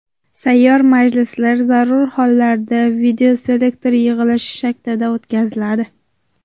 Sayyor majlislar zarur hollarda videoselektor yig‘ilishi shaklida o‘tkaziladi.